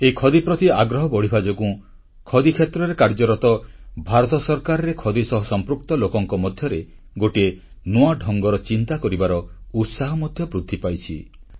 ଏହି ଖଦୀ ପ୍ରତି ଆଗ୍ରହ ବଢ଼ିବା ଯୋଗୁଁ ଖଦି କ୍ଷେତ୍ରରେ କାର୍ଯ୍ୟରତ ଭାରତ ସରକାରରେ ଖଦୀ ସହ ସମ୍ପୃକ୍ତ ଲୋକଙ୍କ ମଧ୍ୟରେ ଗୋଟିଏ ନୂଆ ଢଙ୍ଗର ଚିନ୍ତା କରିବାର ଉତ୍ସାହ ମଧ୍ୟ ବୃଦ୍ଧି ପାଇଛି